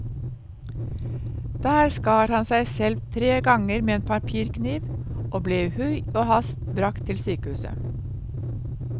Der skar han seg selv tre ganger med en papirkniv og ble i hui og hast bragt til sykehuset.